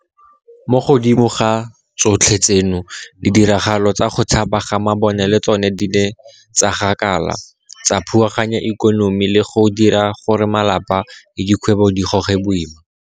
Mo godimo ga tsotlhe tseno, ditiragalo tsa go tshaba ga mabone le tsona di ne tsa gakala, tsa phuaganya ikonomi le go dira gore malapa le dikgwebo di goge boima.